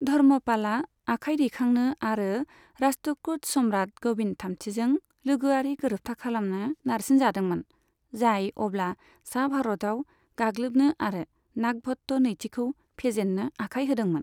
धर्मपालआ आखाइ दैखांनो आरो राष्ट्रकुट सम्राट गभिन्द थामथिजों लोगोआरि गोरोबथा खालामनो नारसिनजादोंमोन, जाय अब्ला सा भारतआव गाग्लोबनो आरो नागभट्ट नैथिखौ फेजेननो आखाइ होदोंमोन।